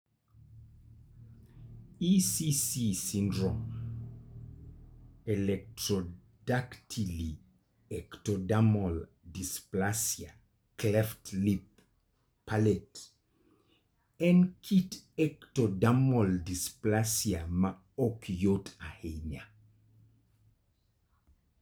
EEC syndrome (Ectrodactyly Ectodermal Dysplasia Cleft Lip/Palate) en kit ectodermal dysplasia ma ok yot ahinya.